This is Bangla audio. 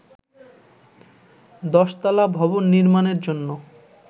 দশতলা ভবন নির্মাণের জন্য